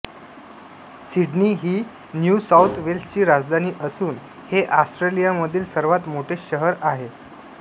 Sydney ही New South वेल्सची राजधानी असून हे ऑस्ट्रेलियामधील सर्वात मोठे शहर आहे